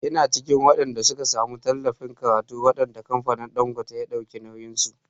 Ina cikin waɗanda suka samu tallafin karatu wanda kamfanin Ɗangote ya dauki nauyin su.